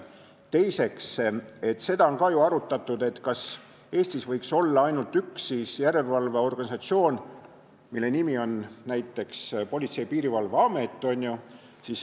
Teiseks, seda on ka ju arutatud, kas Eestis võiks olla ainult üks järelevalveorganisatsioon, mille nimi oleks näiteks Politsei- ja Piirivalveamet.